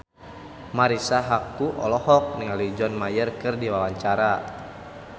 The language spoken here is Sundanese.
Marisa Haque olohok ningali John Mayer keur diwawancara